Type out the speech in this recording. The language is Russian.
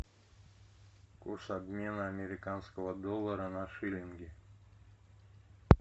курс обмена американского доллара на шиллинги